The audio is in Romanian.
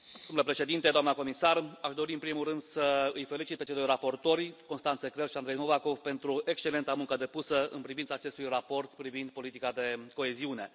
Domnule președinte, doamnă comisar, aș dori în primul rând să îi felicit pe cei doi raportori, Constanze Krehl și Andrey Novakov pentru excelenta muncă depusă în privința acestui raport privind politica de coeziune.